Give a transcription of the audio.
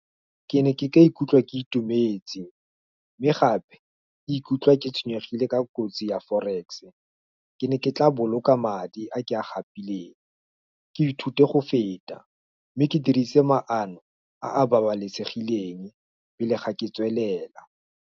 Ke ne ke ka ikutlwa ke itumetse, mme gape, ke ikutlwa ke tshwenyegile ka kotsi ya forex-e, ke ne ke tla boloka madi, a ke a gapile, ke ithute go feta, mme ke dirise maano, a a babalesegileng, pele ga ke ka tswelela.